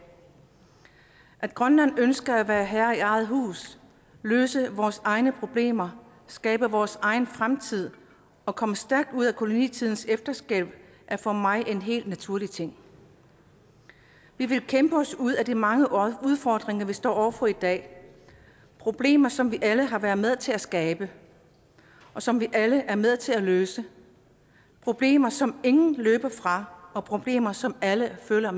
at grønland ønsker at være herre i eget hus løse vores egne problemer skabe vores egen fremtid og komme stærkt ud af kolonitidens efterslæb er for mig en helt naturlig ting vi vil kæmpe os ud af de mange udfordringer vi står over for i dag problemer som vi alle har været med til at skabe og som vi alle er med til at løse problemer som ingen kan løbe fra og problemer som alle føler